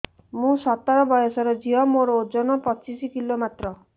ମୁଁ ସତର ବୟସର ଝିଅ ମୋର ଓଜନ ପଚିଶି କିଲୋ ମାତ୍ର